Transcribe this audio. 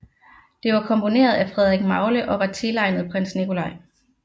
Det var komponeret af Frederik Magle og var tilegnet prins Nikolai